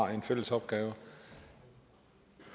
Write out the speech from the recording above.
har en fælles opgave